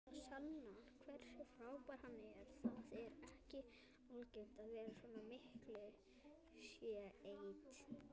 Það sannar hversu frábær hann er, það er ekki algengt að svona miklu sé eytt.